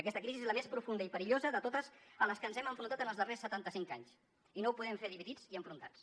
aquesta crisi és la més profunda i perillosa de totes a les que ens hem enfrontat en els darrers setanta cinc anys i no ho podem fer dividits i enfrontats